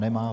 Nemá.